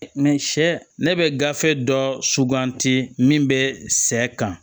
ne bɛ gafe dɔ suganti min bɛ sɛ kan